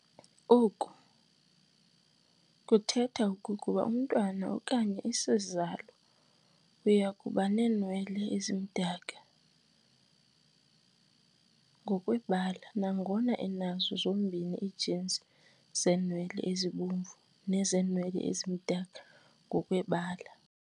Oku kuthetha okokuba umntwana okanye isizalo uyakubaneenwele ezimdaka ngokwebala nangona enazo zombini ii-genes zeenwele ezibomvu nezeenwele ezimdaka ngokwebala.